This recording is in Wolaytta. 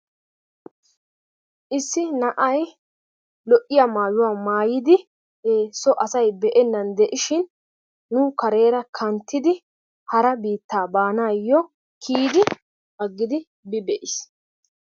issi na'ay lo'iya maayuwa maayidi so asay be'enan diishin nu kareera kantidi hara biittaa baanayo agidi bi be'iis.